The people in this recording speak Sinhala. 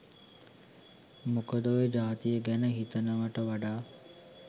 මොකද ඔය ජාතිය ගැන හිතනවට වඩා